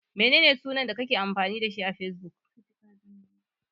Menene sunan da kake amfani da shi a Fesbuk?